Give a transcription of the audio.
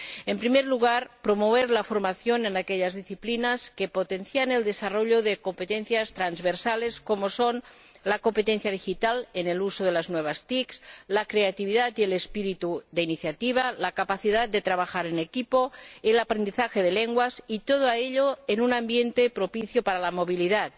En primer lugar, promover la formación en aquellas disciplinas que potencian el desarrollo de competencias transversales, como son la competencia digital en el uso de las nuevas TIC, la creatividad y el espíritu de iniciativa, la capacidad de trabajar en equipo y el aprendizaje de lenguas, todo ello en un ambiente propicio para la movilidad.